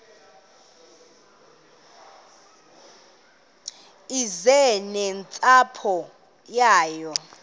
eze nentsapho yayo